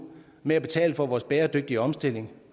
med at betale for vores bæredygtige omstilling